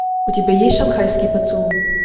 у тебя есть шанхайский поцелуй